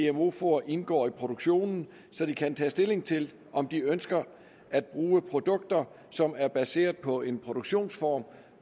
at gmo foder indgår i produktionen så de kan tage stilling til om de ønsker at bruge produkter som er baseret på en produktionsform